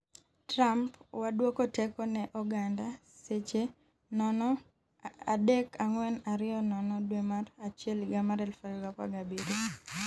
Trump: Wadwoko teko ne oganda, Seche 0,3420 dwe mar achiel higa mar 2017,